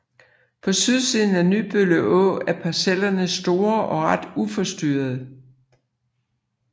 På sydsiden af Nybølle Å er parcellerne store og ret uforstyrrede